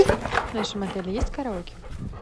в нашем отеле есть караоке